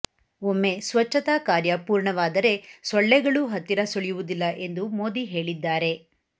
ಒಮ್ಮೆ ಸ್ವಚ್ಚತಾ ಕಾರ್ಯ ಪೂರ್ಣವಾದರೆ ಸೊಳ್ಳೆಗಳೂ ಹತ್ತಿರ ಸುಳಿಯುವುದಿಲ್ಲ ಎಂದು ಮೋದಿ ಹೇಳಿದ್ದಾರೆ